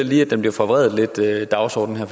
lige blev forvredet